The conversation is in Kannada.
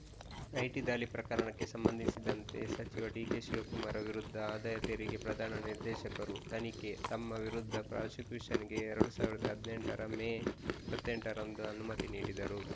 ಐಟಿ ದಾಳಿ ಪ್ರಕರಣಕ್ಕೆ ಸಂಬಂಧಿಸಿದಂತೆ ಸಚಿವ ಡಿಕೆಶಿವಕುಮಾರ್‌ ವಿರುದ್ಧ ಆದಾಯ ತೆರಿಗೆ ಪ್ರಧಾನ ನಿರ್ದೇಶಕರು ತನಿಖೆ ತಮ್ಮ ವಿರುದ್ಧ ಪ್ರಾಸಿಕ್ಯೂಷನ್‌ಗೆ ಎರಡ್ ಸಾವಿರದ ಹದಿನೆಂಟರ ಮೇ ಇಪ್ಪತ್ತ್ ಎಂಟರಂದು ಅನುಮತಿ ನೀಡಿದ್ದರು